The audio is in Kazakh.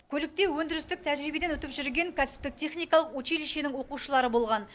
көлікте өндірістік тәжірибеден өтіп жүрген кәсіптік техникалық училищенің оқушылары болған